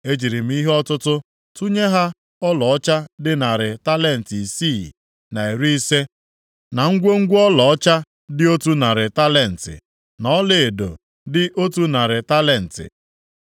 E jiri m ihe ọtụtụ tụnye ha ọlaọcha dị narị talenti isii na iri ise (ya bụ 650), na ngwongwo ọlaọcha dị otu narị talenti (ya bụ 100), na ọlaedo dị otu narị talenti (ya bụ 100).